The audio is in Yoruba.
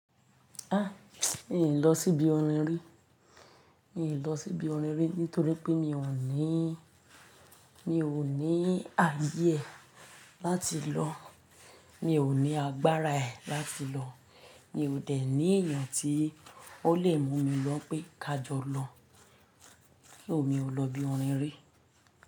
A! Mí ò lọ sí ibi orin rí. Mí ò lọ sí ibi orin rí nítorí pé mí ọ̀ ní, mí ò ní ààyè e láti lọ, mí ò ní agbára ẹ̀ láti lọ, mí ò dẹ̀ ní èèyàn tí ó lè mú mí lọ pé "kájọ lọ". So, mi ò lọ ibi orin rí.